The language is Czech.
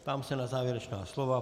Ptám se na závěrečná slova.